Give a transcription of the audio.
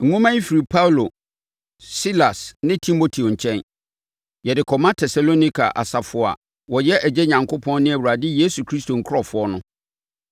Nwoma yi firi Paulo, Silas ne Timoteo nkyɛn, Yɛde kɔma Tesalonika asafo a wɔyɛ Agya Onyankopɔn ne Awurade Yesu Kristo nkurɔfoɔ no: